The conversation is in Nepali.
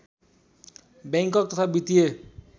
बैङ्क तथा वित्तीय